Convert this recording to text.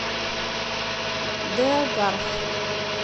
деогарх